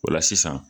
O la sisan